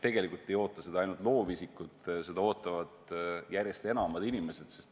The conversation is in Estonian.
Tegelikult ei oota seda ainult loovisikud, seda ootavad järjest enamad inimesed.